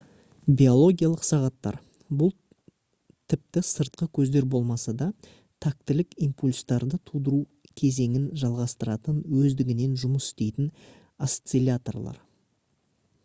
биологиялық сағаттар бұл тіпті сыртқы көздер болмаса да тактілік импульстарды тудыру кезеңін жалғастыратын өздігінен жұмыс істейтін осцилляторлар